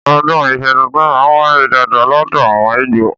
Ọ̀dún ìsú títùn mà ń wàyé dàdá lọdọ àwon igbo